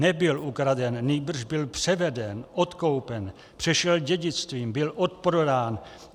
Nebyl ukraden, nýbrž byl převeden, odkoupen, přešel dědictvím, byl odprodán.